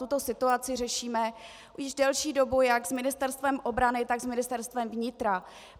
Tuto situaci řešíme již delší dobu jak s Ministerstvem obrany, tak s Ministerstvem vnitra.